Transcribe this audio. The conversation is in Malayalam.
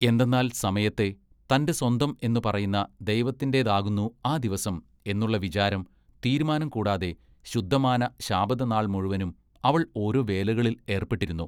എന്തെന്നാൽ സമയത്തെ തന്റെ സ്വന്തം എന്ന് പറയുന്ന ദൈവത്തിന്റെതാകുന്നു ആ ദിവസം എന്നുള്ള വിചാരം തീരുമാനം കൂടാതെ ശുദ്ധമാന ശാബത നാൾ മുഴവനും അവൾ ഓരൊ വേലകളിൽ ഏർപ്പെട്ടിരുന്നു .